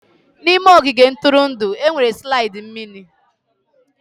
N'ime ogige ntụrụndụ, e nwere slide mmiri.